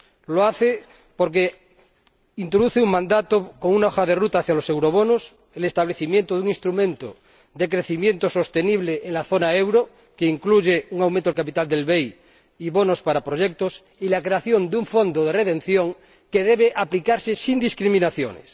Lo hace porque introduce un mandato con una hoja de ruta hacia los eurobonos, el establecimiento de un instrumento de crecimiento sostenible en la zona del euro —que incluye un aumento del capital del BEI y bonos para proyectos— y la creación de un fondo de redención que debe aplicarse sin discriminaciones.